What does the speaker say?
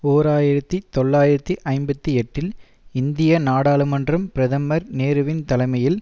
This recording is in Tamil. ஓர் ஆயிரத்தி தொள்ளாயிரத்தி ஐம்பத்தி எட்டில் இந்திய நாடாளுமன்றம் பிரதமர் நேருவின் தலைமையில்